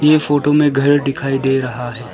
ये फोटो में घर दिखाई दे रहा है।